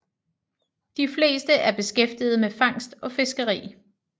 De fleste er beskæftiget med fangst og fiskeri